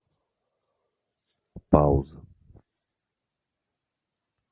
пауза